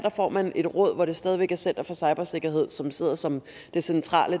får man et råd hvor det stadig væk er center for cybersikkerhed som sidder som den centrale